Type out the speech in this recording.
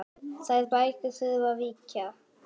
Þær bækur þurfa að víkja.